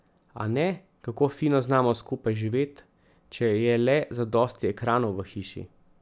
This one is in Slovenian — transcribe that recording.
A ne, kako fino znamo skupaj živet, če je le zadosti ekranov v hiši.